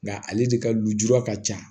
Nga ale de ka lujura ka ca